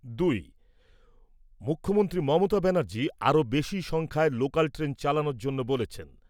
দুই। মুখ্যমন্ত্রী মমতা ব্যানার্জি আরও বেশি সংখ্যায় লোকাল ট্রেন চালানোর জন্য বলেছেন।